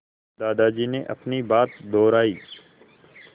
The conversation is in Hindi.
दादाजी ने अपनी बात दोहराई